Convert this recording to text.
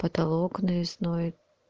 потолок навесной